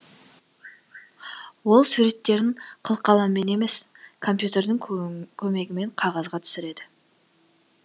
ол суреттерін қылқаламмен емес компьютердің көмегімен қағазға түсіреді